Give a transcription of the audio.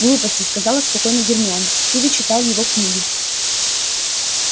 глупости сказала спокойно гермиона ты ведь читал его книги